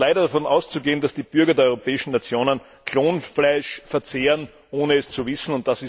Es ist leider davon auszugehen, dass die Bürger der europäischen Nationen Klonfleisch verzehren, ohne es zu wissen.